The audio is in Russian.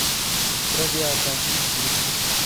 травиата ищи